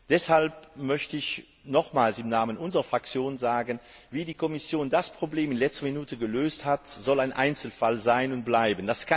Deshalb möchte ich nochmals im Namen unserer Fraktion sagen Wie die Kommission dieses Problem in letzter Minute gelöst hat, soll ein Einzelfall sein und bleiben.